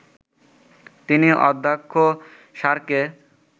তিনি অধ্যক্ষ স্যারকে